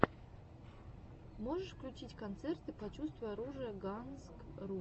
можешь включить концерты почувствуй оружие гансрум